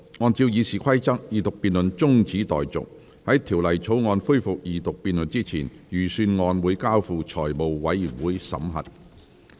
按照《議事規則》，二讀辯論中止待續；在《條例草案》恢復二讀辯論之前，預算案交付財務委員會審核。